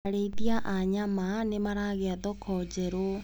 Arĩithia a nyama nĩmaragĩa thoko njerũ.